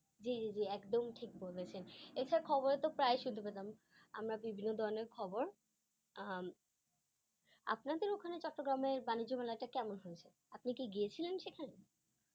জি জি জি একদম ঠিক বলেছেন । এইসব খবরে তো প্রায়ই শুনতে পেতাম, আমরা বিভিন্ন ধরনের খবর। উম আপনাদের ওইখানে চট্টগ্রামের বাণিজ্য মেলাটা কেমন হয়েছে, আপনি কি গিয়েছিলেন সেখানে?